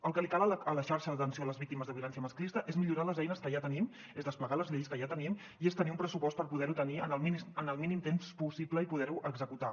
el que li cal a la xarxa d’atenció a les víctimes de violència masclista és millorar les eines que ja tenim és desplegar les lleis que ja tenim i és tenir un pressupost per poder ho tenir en el mínim temps possible i poder ho executar